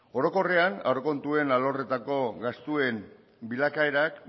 orokorrean aurrekontuen arloetako gastuen bilakaerak